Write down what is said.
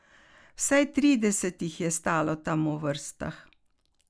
Vsaj trideset jih je stalo tam v vrstah.